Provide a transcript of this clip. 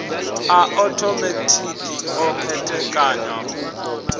a othomethikhi o khethekanywa u